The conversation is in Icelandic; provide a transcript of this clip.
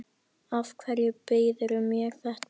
Af hverju býðurðu mér þetta?